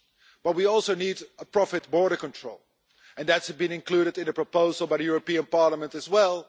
But we also need a profit border control, and that has been included in a proposal by the European Parliament as well.